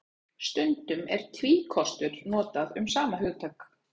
Stundum er tvíkostur notað um sama hugtak.